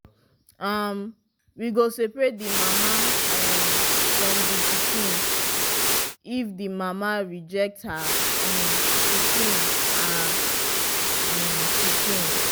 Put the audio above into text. um we go seperate the mama um from pikin if the mama reject her um pikin her um pikin